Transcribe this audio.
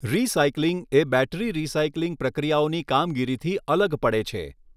Recycling એ battery recycling પ્રક્રિયાઓની કામગીરી થી અલગ પડે છે.